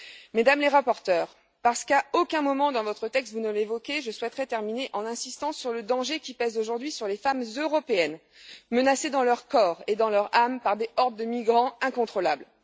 Mesdames les rapporteures, parce qu'à aucun moment dans votre texte vous ne l'évoquez, je souhaiterais terminer en insistant sur le danger qui pèse aujourd'hui sur les femmes européennes menacées dans leur corps et dans leur âme par des hordes de migrants incontrôlables.